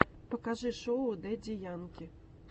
покажи шоу дэдди янки